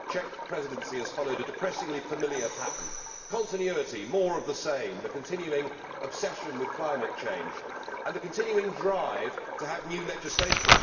Madam President, the Czech Presidency has followed a depressingly familiar pattern continuity, more of the same, the continuing obsession with climate change and the continuing drive to have new legislation.